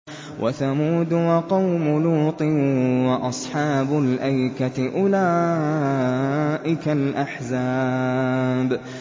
وَثَمُودُ وَقَوْمُ لُوطٍ وَأَصْحَابُ الْأَيْكَةِ ۚ أُولَٰئِكَ الْأَحْزَابُ